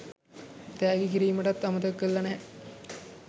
තෑගි කිරිමටත් අමතක කරලා නැහැ